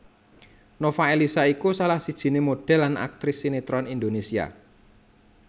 Nova Eliza iku salah sijiné modhel lan aktris sinetron Indonesia